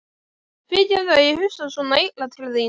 Fyrirgefðu að ég hugsa svona illa til þín.